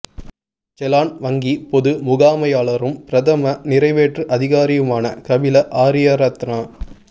செலான் வங்கி பொது முகாமையாளரும் பிரதம நிறைவேற்று அதிகாரியுமான கபில ஆரியரத்ன